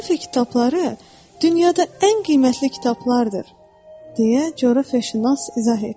Coğrafiya kitabları dünyada ən qiymətli kitablardır, deyə coğrafiyaşünas izah etdi.